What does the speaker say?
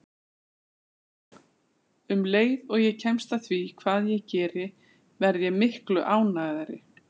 Um leið og ég kemst að því hvað ég geri verð ég miklu ánægðari.